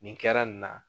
Nin kɛra nin na